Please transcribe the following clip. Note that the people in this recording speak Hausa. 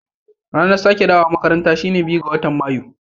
Ranar sake dawowa makaranta shine biyu ga matan mayu.